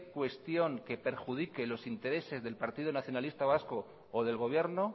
cuestión que perjudique los intereses del partido nacionalista vasco o del gobierno